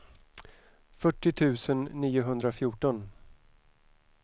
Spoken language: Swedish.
fyrtio tusen niohundrafjorton